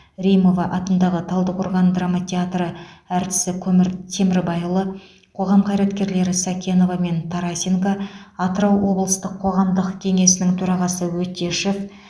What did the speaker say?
римова атындағы талдықорған драма театры әртісі көмір темірбайұлы қоғам қайраткерлері сакенова мен тарасенко атырау облыстық қоғамдық кеңесінің төрағасы өтешов